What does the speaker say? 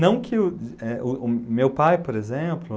Não que o eh o o meu pai, por exemplo...